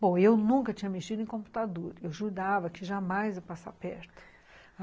Bom, eu nunca tinha mexido em computador, eu jurava que jamais ia passar perto.